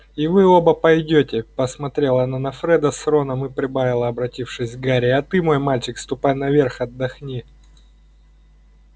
и вы оба пойдёте посмотрела она на фреда с роном и прибавила обратившись к гарри а ты мой мальчик ступай наверх отдохни